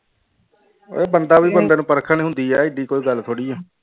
ਉਹ ਬੰਦਾ ਵੀ ਬੰਦੇ ਨੂੰ ਪਰਖਣ ਹੁੰਦੀ ਹੈ ਏਡੀ ਕੋਈ ਗੱਲ ਥੋੜ੍ਹੀ ਹੈ।